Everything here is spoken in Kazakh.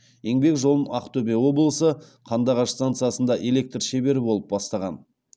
еңбек жолын ақтөбе облысы қандыағаш станциясында электр шебері болып бастаған